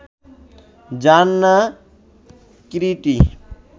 জান না কিরীটী